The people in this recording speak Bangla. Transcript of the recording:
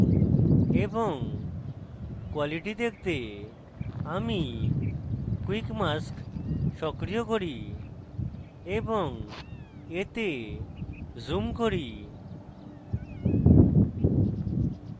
এবং quality দেখতে আমি quick mask সক্রিয় করি এবং এতে zoom করি